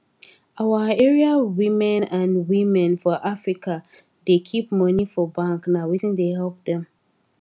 our area women and women for africa da keep money for bank na wetin da help dem